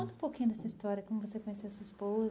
Conta um pouquinho dessa história, como você conheceu sua esposa.